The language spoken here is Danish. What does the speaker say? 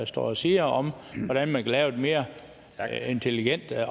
står og siger om hvordan man kan lave det mere intelligent hvad